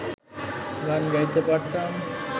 গান গাইতে পারতাম